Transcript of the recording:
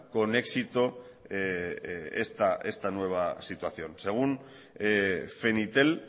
con éxito esta nueva situación según fenitel